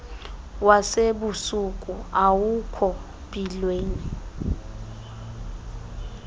wasebusuku awukho mpilweni